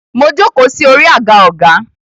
Mo jókòó sí orí àga ọgá.